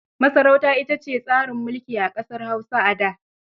Masarauta ita ce tsarin mulki a ƙasar Hausa a da.